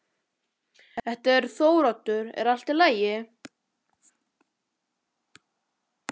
Þetta er Þóroddur, er allt í lagi?